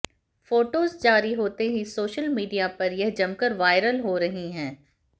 photos जारी होते ही सोशल मीडिया पर यह जमकर वायरल हो रही हैं